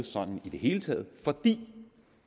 sådan i det hele taget fordi